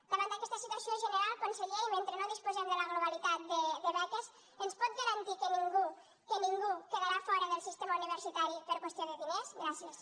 davant d’aquesta situació general conseller i mentre no disposem de la globalitat de beques ens pot garantir que ningú que ningú quedarà fora del sistema universitari per qüestió de diners gràcies